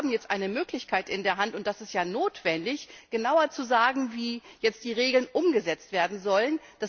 Wir haben jetzt eine Möglichkeit in der Hand und das ist ja notwendig genauer zu sagen, wie jetzt die Regeln umgesetzt werden sollen.